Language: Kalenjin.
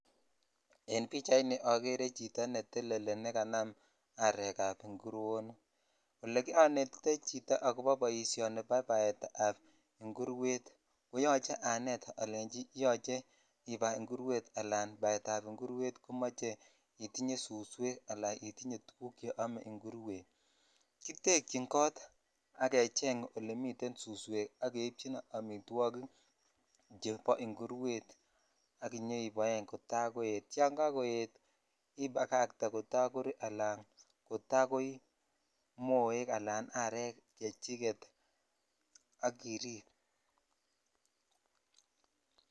En pichaini ogere chito neteleli ne kanam arek ab inguronik ole onetitoi chito ako boishoni bo baet ab ingurwetko yoch anet ale yoche ibai ala baet ab ingurwet komoche itiny suswek al itinye tuguk che ome ingurwet kitekyin kot ak kecheng olemi suswek che amitwokik chebo ingurwet ak inyoiboen kotakoet yan kakoet ibagatee kota kori ala kotakoi moek ala arek chechiget ak irip.